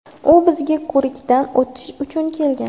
U bizga ko‘rikdan o‘tish uchun kelgan.